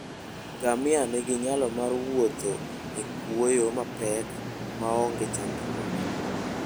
Ngamia nigi nyalo mar wuotho e kwoyo mapek maonge chandruok.